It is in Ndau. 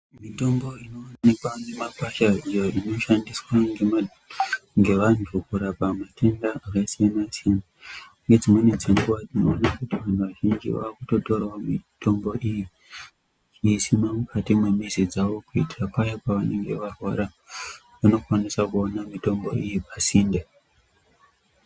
Mitombo inovanikwa mumakwasha iyo inoshandiswa ngevantu kurapa matenda akasiyana-siyana. Nedzimweni dzenguva tinoona kuti vantu vazhinji vakutotoravo mitombo iyi kuisima mukati memizi dzavo. Kuitira paya pavanenge varwara vanokwanisa kuona mitombo iyi pasinde.